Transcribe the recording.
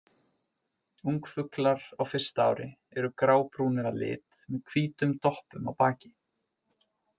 Ungfuglar á fyrsta ári eru grábrúnir að lit með hvítum doppum á baki.